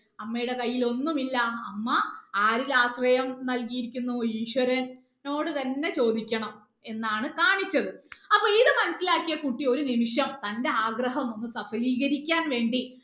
അമ്മയുടെ കൈയിൽ ഒന്നുമില്ല അമ്മ ആരിൽ ആശ്രയം നൽകിയിരിക്കുന്നു ഈശ്വര നോട് തന്നെ ചോദിക്കണം എന്നാണ് കാണിച്ചത് അപ്പൊ ഇത് മനസിലാക്കിയ കുട്ടി ഒരു നിമിഷം തന്റെ ആഗ്രഹം ഒന്ന് സഫലീകരിക്കാൻ വേണ്ടി